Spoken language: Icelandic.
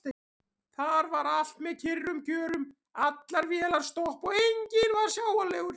Þar var allt með kyrrum kjörum: allar vélar stopp og enginn sjáanlegur.